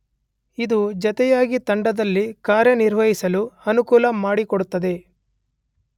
ಇದು ಜತೆಯಾಗಿ ತಂಡದಲ್ಲಿ ಕಾರ್ಯನಿರ್ವಹಿಸಲು ಅನುಕೂಲ ಮಾಡಿಕೊಡುತ್ತದೆ.